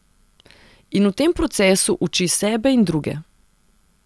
In v tem procesu uči sebe in druge.